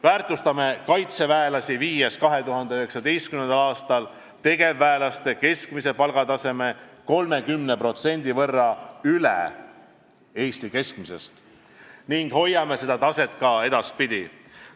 Väärtustame kaitseväelasi, viies 2019. aastal tegevväelaste keskmise palgataseme 30% võrra üle Eesti keskmise ning hoiame seda taset ka edaspidi.